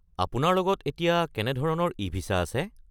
আপোনাৰ লগত এতিয়া কেনে ধৰণৰ ই-ভিছা আছে?